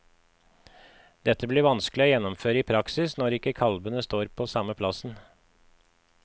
Dette blir vanskelig å gjennomføre i praksis når ikke kalvene står på samme plassen.